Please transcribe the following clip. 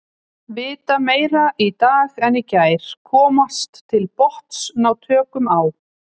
Vita meira í dag en í gær, komast til botns, ná tökum á.